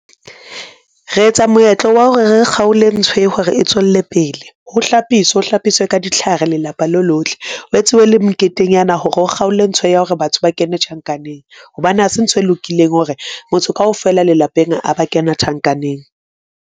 Re etsa moetlo wa hore re kgaole ntho e hore e tswelle pele, ho hlapiswa ho hlapiswe ka ditlhare lelapa le lohle o etsuwe le moketenyana hore o kgaole ntho ya hore batho ba kene tjhankaneng hobane hase ntho e lokileng hore motho kaofela lelapeng a ba kena tjhankaneng.